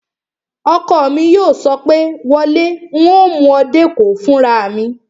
Ọkọ mi yóò sọ pé, "wọ lé, un ó mú ọ dé Èkó fúnra mi!"